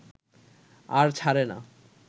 আর ছারে না